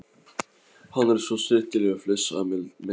Hann er svo snyrtilegur flissaði Milla.